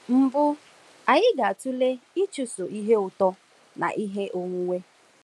Mbụ, anyị ga-atụle ịchụso ihe ụtọ na ihe onwunwe.